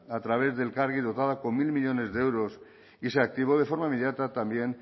a través de elkargi dotada con mil millónes de euros y se activó de forma inmediata también